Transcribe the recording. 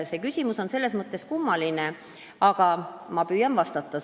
See küsimus on selles mõttes kummaline, aga ma püüan sellele vastata.